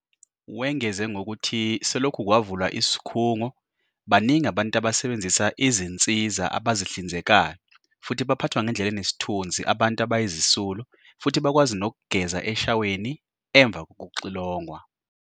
Wengeze ngokuthi selokhu kwavulwa isikhungo, baningi abantu abasebenzisa izinsiza abazihlinzekayo futhi baphathwa ngendlela enesithunzi abantu abayizisulu futhi bakwazi nokugeza eshaweni emva kokuxilongwa.